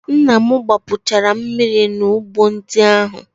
Nna m gbapuchalu mmiri n'ugbo ndị ahụ.